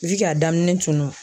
daminɛ tunun